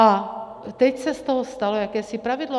A teď se z toho stalo jakési pravidlo.